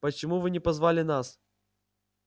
почему вы не позвали нас